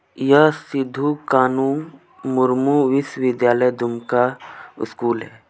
यह सिधू कानू मुर्मू विश्व विद्यालय दूमका स्कूल है.